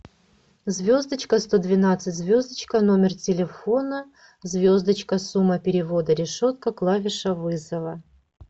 звездочка сто двенадцать звездочка номер телефона звездочка сумма перевода решетка клавиша вызова